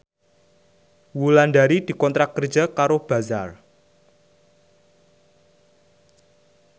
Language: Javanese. Wulandari dikontrak kerja karo Bazaar